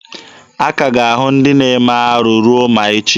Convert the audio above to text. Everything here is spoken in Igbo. A ka ga-ahụ ndị na-eme arụ ruo ma echi.